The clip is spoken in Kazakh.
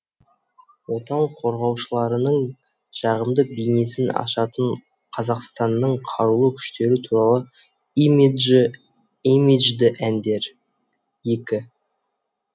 отан қорғаушыларының жағымды бейнесін ашатын қазақстанның қарулы күштері туралы имиджді әндер екі